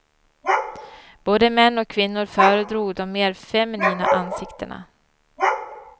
Både män och kvinnor föredrog de mer feminina ansiktena.